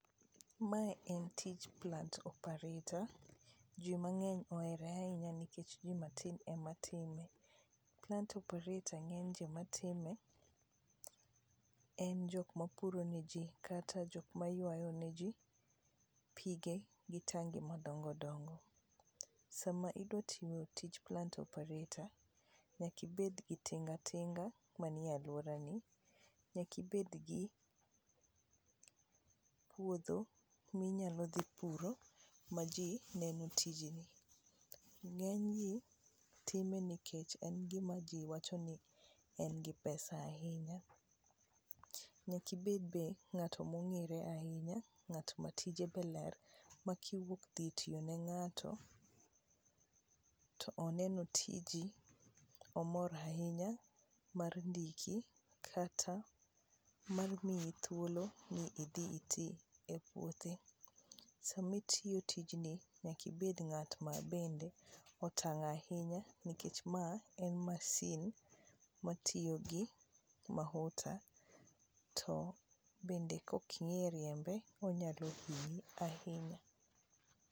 Mae en tij plant operator, ji mang'eny ohete ahinya nikech ji matin ematime. Plant operator ng'eny jomatime, en jok mapuro ne ji kata jok maywayo ne ji pige gi tangi madongo dongo. Sama idwa timo tij plant operator nyaka ibedgi tinga tinga manie alworani, nyaka ibedgi puodho minyalo dhi puro ma ji neno tijeni. Ng'enygi time nikech en gima ji wacho ni en gi pesa ahinya, nyaka ibed be ng'ato mong'ere ahinya, ng'at ma tije be ler ma kiwuok dhi tiyo ne ng'ato, to oneno tiji, omor ahinya mar ndiki kata mar miyi thuolo mi idhi iti e puothe. Sami tiyo tijni, nyaka ibed ng'at ma bende otang' ahinya nikech ma en masin matiyo gi mahuta to bende kok ing'e riembe onyalo hinyi ahinya.